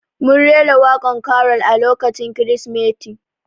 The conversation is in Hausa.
Mun rera waƙan karol a lokacin kirismeti